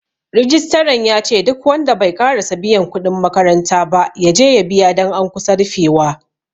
Rijistran yace duk wanda bai ƙarasa biyan kuɗin makaranta ba, yaje ya biya don an kusa rufewa.